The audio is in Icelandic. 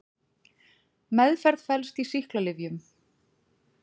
Meðferð felst í sýklalyfjum.